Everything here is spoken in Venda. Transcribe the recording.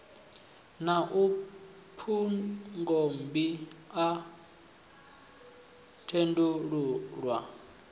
a na phungommbi a khethululwa